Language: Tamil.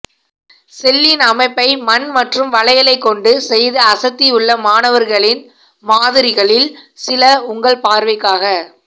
செல்லின் அமைப்பை மண் மற்றும் வளையலைக் கொண்டு செய்து அசத்தி உள்ள மாணவர்களின் மாதிரிகளில் சில உங்கள் பார்வைக்காக